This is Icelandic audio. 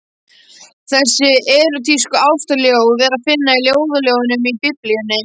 Þessi erótísku ástarljóð er að finna í Ljóðaljóðunum í Biblíunni.